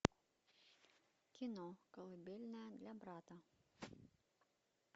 кино колыбельная для брата